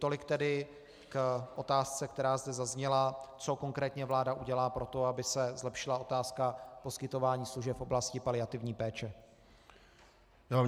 Tolik tedy k otázce, která zde zazněla, co konkrétně vláda udělá pro to, aby se zlepšila otázka poskytování služeb v oblasti paliativní péče.